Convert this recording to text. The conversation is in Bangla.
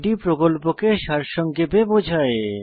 এটি প্রকল্পকে সারসংক্ষেপে বোঝায়